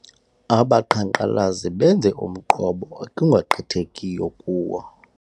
Abaqhankqalazi benze umqobo ekungagqithekiyo kuwo.